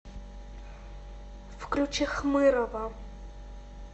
включи хмырова